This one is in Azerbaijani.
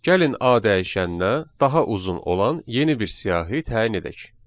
Gəlin A dəyişəninə daha uzun olan yeni bir siyahı təyin edək.